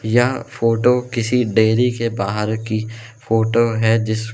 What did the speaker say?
यह फोटो किसी डेयरी के बाहर की फोटो है जिस--